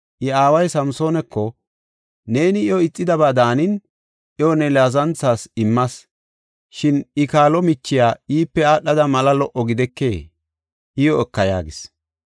I aaway Samsoonako, “Neeni iyo ixidaba daanin iyo ne laazanthas immas. Shin I, kaalo michiya iipe aadhada mala lo77o gidekee? Iyo eka” yaagis.